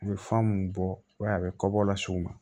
U bɛ fɛn mun bɔ i b'a ye a bɛ kɔbɔla s'u ma